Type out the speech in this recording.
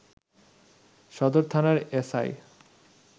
সদর থানার এসআই